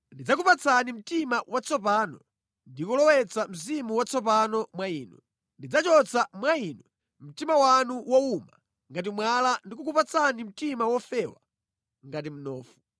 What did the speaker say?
Ndidzakupatsani mtima watsopano ndi kulowetsa mzimu watsopano mwa inu. Ndidzachotsa mwa inu mtima wanu wowuma ngati mwala ndi kukupatsani mtima wofewa ngati mnofu.